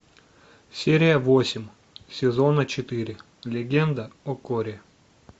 серия восемь сезона четыре легенда о корре